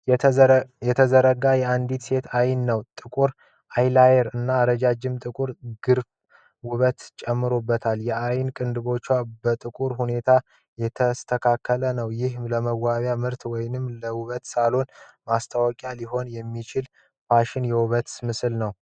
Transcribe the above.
የተዘጋ የአንድ ሴት ዓይን ነው። ጥቁር አይላይነር እና ረጅም ጥቁር ግርፋት ውበት ጨምሮለታል። የዓይን ቅንድቡ በጥሩ ሁኔታ የተስተካከለ ነው። ይህ ለመዋቢያ ምርቶች ወይም ለውበት ሳሎን ማስታወቂያ ሊሆን የሚችል የፋሽንና የውበት ምስል ነው።